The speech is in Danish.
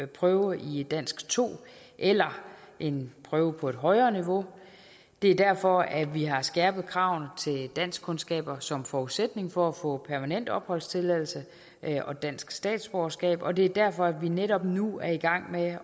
prøve i dansk to eller en prøve på et højere niveau det er derfor at vi har skærpet kravene til danskkundskaber som forudsætning for at få permanent opholdstilladelse og dansk statsborgerskab og det er derfor at vi netop nu er i gang med